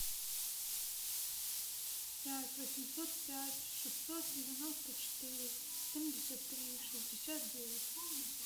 пять восемьсот пять шестьсот девяносто четыре семьдесят три шестьдесят девять